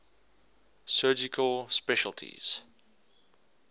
surgical specialties